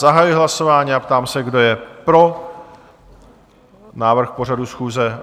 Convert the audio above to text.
Zahajuji hlasování a ptám se, kdo je pro návrh pořadu schůze?